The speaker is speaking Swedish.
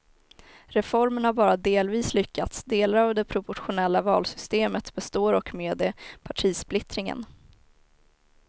Reformen har bara delvis lyckats, delar av det proportionella valsystemet består och med det partisplittringen.